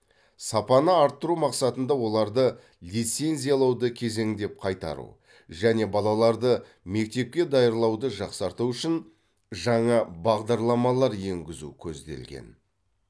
сапаны арттыру мақсатында оларды лицензиялауды кезеңдеп қайтару және балаларды мектепке даярлауды жақсарту үшін жаңа бағдарламалар енгізу көзделген